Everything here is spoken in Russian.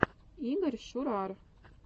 игорь шурар